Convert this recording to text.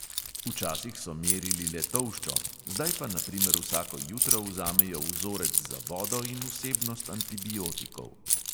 Včasih so merili le tolščo, zdaj pa na primer vsako jutro vzamejo vzorec za vodo in vsebnost antibiotikov.